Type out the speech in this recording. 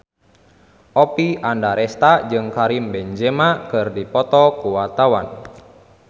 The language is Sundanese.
Oppie Andaresta jeung Karim Benzema keur dipoto ku wartawan